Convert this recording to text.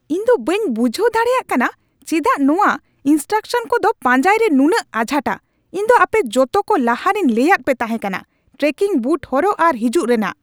ᱤᱧ ᱫᱚ ᱵᱟᱹᱧ ᱵᱩᱡᱷᱟᱹᱣ ᱫᱟᱲᱮᱭᱟᱜ ᱠᱟᱱᱟ ᱪᱮᱫᱟᱜ ᱱᱚᱣᱟ ᱤᱱᱥᱴᱨᱩᱠᱥᱚᱱ ᱠᱚ ᱫᱚ ᱯᱟᱸᱡᱟᱭ ᱨᱮ ᱱᱩᱱᱟᱹᱜ ᱟᱸᱡᱷᱟᱴᱼᱟ ᱾ ᱤᱧ ᱫᱚ ᱟᱯᱮ ᱡᱚᱛᱚ ᱠᱚ ᱞᱟᱦᱟᱨᱮᱧ ᱞᱟᱹᱭᱟᱫ ᱯᱮ ᱛᱟᱦᱮᱸ ᱠᱟᱱᱟ ᱴᱨᱮᱠᱤᱝ ᱵᱩᱴ ᱦᱚᱨᱚᱜ ᱟᱨ ᱦᱤᱡᱩᱜ ᱨᱮᱱᱟᱜ ᱾